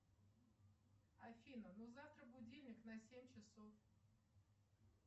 афина ну завтра будильник на семь часов